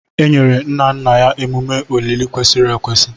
E nyere nna nna ya emume olili kwesịrị ekwesị.